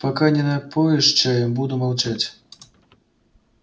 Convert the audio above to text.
пока не напоишь чаем буду молчать